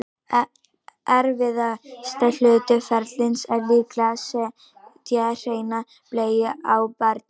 erfiðasti hluti ferlisins er líklega að setja hreina bleiu á barnið